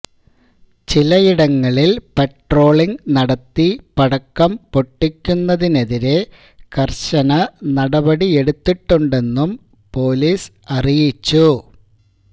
ചിലയിടങ്ങളിൽ പട്രോളിങ് നടത്തി പടക്കം പൊട്ടിക്കുന്നതിനെതിരേ കർശന നടപടിയെടുത്തിട്ടുണ്ടെന്നും പോലീസ് അറിയിച്ചു